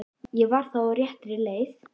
Ég var þá á réttri leið!